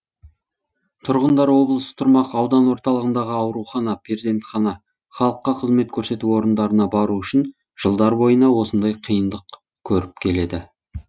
тұрғындар облыс тұрмақ аудан орталығындағы аурухана перзентхана халыққа қызмет көрсету орындарына бару үшін жылдар бойына осындай қиындық көріп келеді